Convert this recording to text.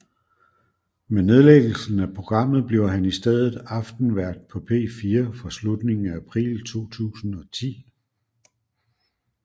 Med nedlæggelsen af programmet bliver han i stedet aftenvært på P4 fra slutningen af april 2010